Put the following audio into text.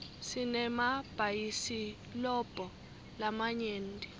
sinemabhayisilobho lamanyenti